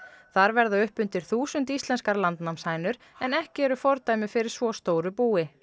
þar verða uppundir þúsund íslenskar landnámshænur en ekki eru fordæmi fyrir svo stóru búi